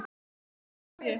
Svo fátæk er ég.